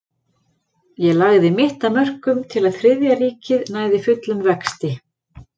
Ég lagði mitt af mörkum til að Þriðja ríkið næði fullum vexti.